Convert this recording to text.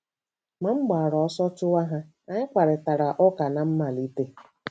Ma m gbara ọsọ chụwa ha, anyị kparịtara ụka ná mmalite.